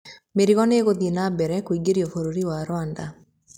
Mĩrigo no ĩgũthiĩ na mbere kũingĩrio bũrũri wa Rwanda.